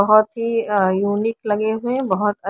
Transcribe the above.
बहुत ही uh unique लगे हुए हैं बहुत अ--